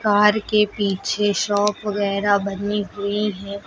Car के पीछे shop वगैरा बनी हुई है।